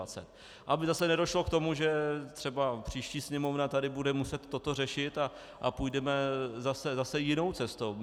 Aby zase nedošlo k tomu, že třeba příští Sněmovna tady bude muset toto řešit a půjdeme zase jinou cestou.